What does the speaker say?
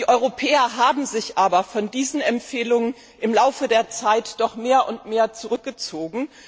Die Europäer haben sich aber von diesen Empfehlungen im Laufe der Zeit mehr und mehr zurückgezogen.